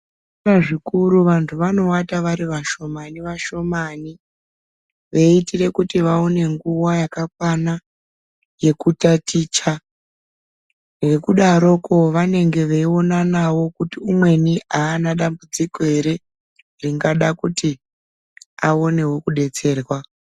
Zvikora zvikuru vantu vano wata vari vashomani vashomani veitire kuti vaone nguva yaka kwana yeku taticha nekudaroko vanenge vei onanawo kuti umweni aana dambudziko ere ringana kuti aonewo kudetserwa.